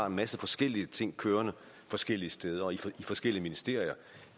en masse forskellige ting kørende forskellige steder og i forskellige ministerier